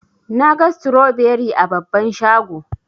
Naga stroberi a babban shago.